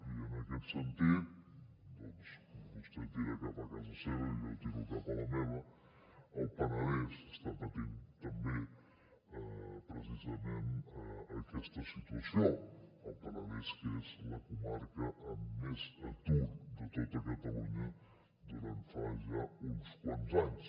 i en aquest sentit doncs vostè tira cap a casa seva i jo tiro cap a la meva el penedès està patint també precisament aquesta situació el penedès és la comarca amb més atur de tot catalunya durant fa ja uns quants anys